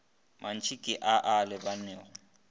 mantši ke a a lebanego